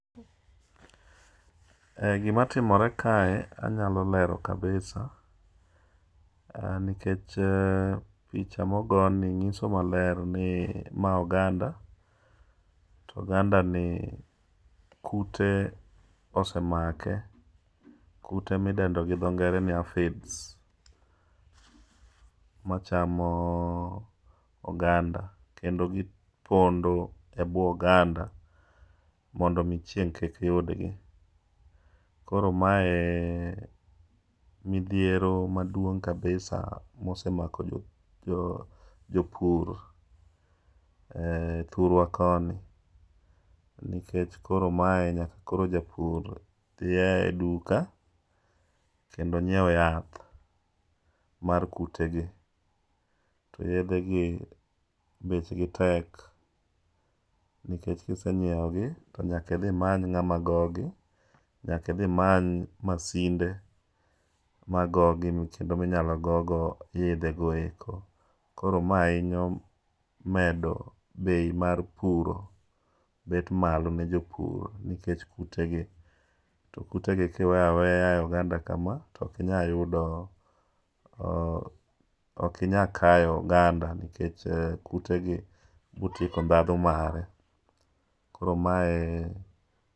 Gima timore kae anyalo lero kabisa nikech picha nikech picha mogoni nyiso maler ni ma oganda to kute osemake kute midendo gi dho ngere ni arphid machamo oganda kendomgipondo ebwo oganda mondo mi chieng' kik yudgo koo mae midhiero maduong' kabisa mosemako jopur thurwa koni. Nikech koro mae nyaka koro japur dhi e duka kendo nyiew yath mar kutegi to yedhegi bechgi tek nikech kise nyiewogi to nyaka idhi imany ng'ama gogi, nyaka idhi many masinde ma inyalo gogo yedhego eko, koro ma hiny medo bei mar puro bet malo ne jopur to kutegi kiweyo aweya e oganda kama to ok inyal kayo oganda nikech kutegi biro tieko ndhadhu mare. Koro mae